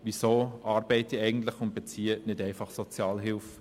Weshalb arbeite ich eigentlich und beziehe nicht einfach Sozialhilfe?